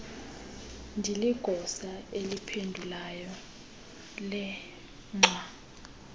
ndiligosa eliphendulayo lengxwa